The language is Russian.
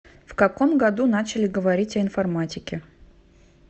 в каком году начали говорить о информатике